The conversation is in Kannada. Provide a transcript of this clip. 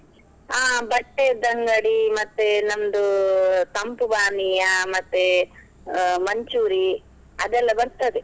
ಹಾ ಬಟ್ಟೆಯದ್ದು ಅಂಗಡಿ, ಮತ್ತೆ ನಮ್ದು ತಂಪು ಪಾನೀಯ, ಮತ್ತೆ ಹಾ manchoori~ , ಅದೆಲ್ಲ ಬರ್ತದೆ.